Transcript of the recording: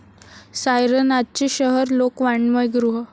सायरनाचे शहर, लोकवाङमय गृह